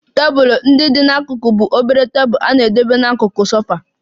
Tebụl ndị dị n'akụkụ bụ obere tebụl na-edebe n'akụkụ sofa